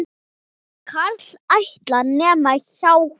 Karl ætlar, nema hjá honum.